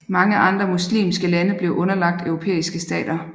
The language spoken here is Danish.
Mange andre muslimske lande blev underlagt europæiske stater